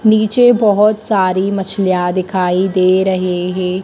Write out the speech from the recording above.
नीचे बहोत सारी मछलियां दिखाई दे रहे है।